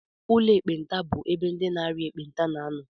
Ụlọ ekpenta bụ ebe ndị na-arịa ekpenta na-anọ